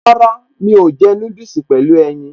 Rárá, mi ò jẹ́ núdùsì pẹ̀lú ẹyin